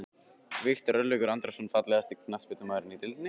Viktor Örlygur Andrason Fallegasti knattspyrnumaðurinn í deildinni?